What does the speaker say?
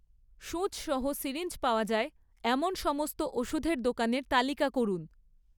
সুচ সহ সিরিঞ্জ পাওয়া যায় এমন সমস্ত ওষুধের দোকানের তালিকা করুন